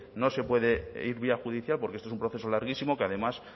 no se puede ir vía judicial porque esto es un proceso larguísimo que además